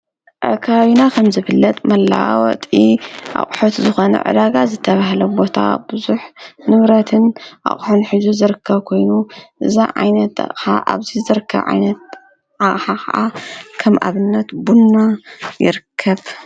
አብ ከባቢና ከምዝፍለጥ መለዋወጢ አቑሑት ዝኾነ ዕዳጋ ዝተብሃለ ቦታ ቡዙሕ ንብረትን አቑሑን ሒዙ ዝርከብ ኮይኑ፤ እዚ ዓይነት አቕሓ አብዚ ዝርከብ ዓይነት አቕሓ ከዓ ከም አብነት ቡና ይርከብ፡፡